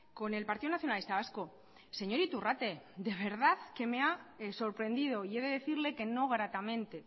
con el partido nacionalista vasco señor iturrate de verdad que me ha sorprendido y he de decirle que no gratamente